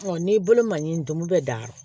n'i bolo man ɲi dun bɛ dan